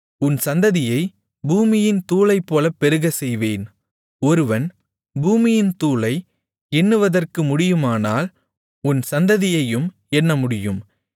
உன் சந்ததியை பூமியின் தூளைப்போலப் பெருகச்செய்வேன் ஒருவன் பூமியின் தூளை எண்ணுவதற்கு முடியுமானால் உன் சந்ததியையும் எண்ணமுடியும்